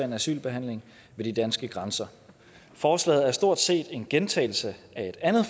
en asylbehandling ved de danske grænser forslaget er stort set en gentagelse af et andet